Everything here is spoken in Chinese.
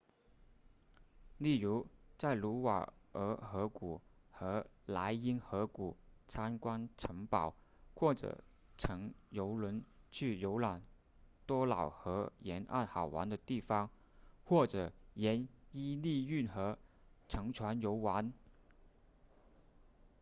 例如在卢瓦尔河谷和莱茵河谷参观城堡或者乘游轮去游览多瑙河沿岸好玩的城市或者沿伊利运河乘船游玩